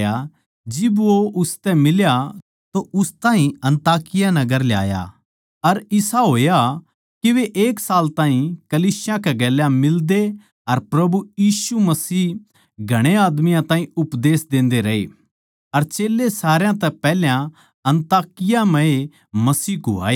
जिब वो उसतै फेट्या तो उस ताहीं अन्ताकिया नगर ल्याया अर इसा होया के वे एक साल ताहीं कलीसिया कै गेल्या मिलदे अर प्रभु यीशु मसीह घणे आदमियाँ ताहीं उपदेश देन्दे रहे अर चेल्लें सारया तै पैहल्या अन्ताकिया नगर ए म्ह मसीह कुहाए